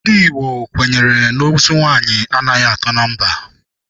Ndị Igbo kwenyere na ozu nwaanyị anaghị atọ na mba.